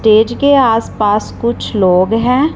Stage के आस पास कुछ लोग हैं।